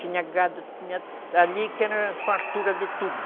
Tinha gado, tinha ali que era fartura de tudo.